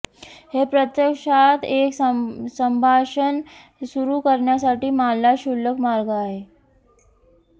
हे प्रत्यक्षात एक संभाषण सुरू करण्यासाठी मानला क्षुल्लक मार्ग आहे